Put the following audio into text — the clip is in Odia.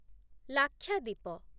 ଲାକ୍ଷାଦ୍ୱୀପ